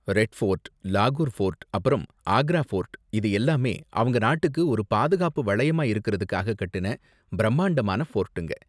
Red fort, லாகூர் fort அப்பறம் Agra fort இது எல்லாமே அவங்க நாட்டுக்கு ஒரு பாதுகாப்பு வளையமா இருக்குறதுக்காக கட்டுன பிரம்மாண்டமான ஃபோர்ட்டுங்க.